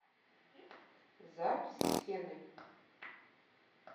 запись сенной